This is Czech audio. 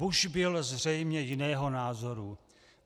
Bush byl zřejmě jiného názoru.